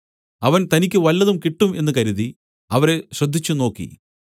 അവൻ തനിക്ക് വല്ലതും കിട്ടും എന്ന് കരുതി അവരെ ശ്രദ്ധിച്ചുനോക്കി